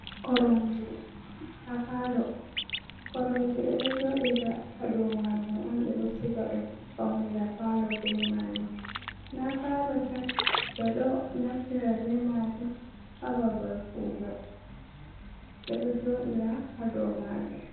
Koromje ha palo. Koromji ɓeɗo joɗira ha dow majum on ɓeɗo siga ɗum faunira palo be majum, na palo tan ɓeɗo naftira be majum ha babal kugal, ɓeɗo joɗira ha dow majum.